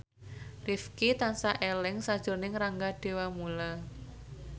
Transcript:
Rifqi tansah eling sakjroning Rangga Dewamoela